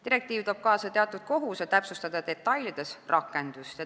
Direktiiv toob kaasa teatud kohustuse täpsustada rakendamise detaile.